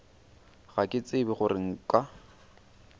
ga ke tsebe gore nka